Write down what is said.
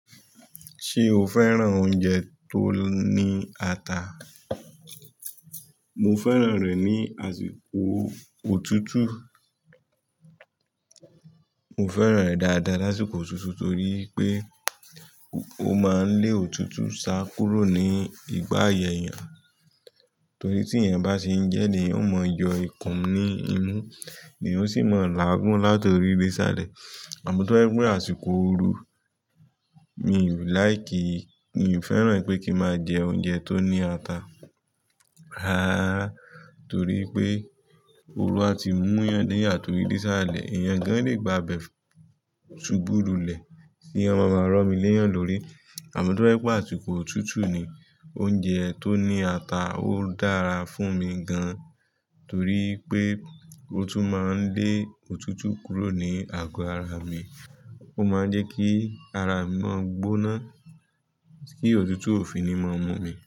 Ṣé o fẹ́ràn oúnjẹ tó ní ata? Mo fẹ́ràn rẹ̀ ní àsìkò òtútù. Mo fẹ́ràn rẹ̀ dáadáa lásìkò òtútù torí pé ó máa ń lé òtútù sá kúrò ní ìgbà ayẹyẹ. Torí tí ẹ̀yin bá ṣe ń jẹ ní, èéyan ó máa ń yọ ikùn ní inú, èèyàn sì máa ń làágún látòrí dé sálẹ̀. Àmọ́ tó ẹ gbọ́ àsìkò ooru, mi ò nifẹ, mi ò fẹ́ràn pé kí máa jẹ oúnjẹ tó ní ata. Rárá, torí pé ooru a ti mú ìyàn dẹ yà tòrí bí sálẹ̀, ẹ̀yàn gan-an le gba ibẹ fún sùbù lulẹ̀, tí wọ́n má máá rọmí léyàn lórí. Àmọ́ tó bá jẹ pé àsìkò òtútù ni, oúnjẹ tó ní ata ó dára fún mi gan-an torí pé ó tún máa ń lé òtútù kúrò ní àgọ́ ara mi. Ó máa ń jẹ́ kí ara mi máa gbóná, kí òtútù òfi ni máa mú mi.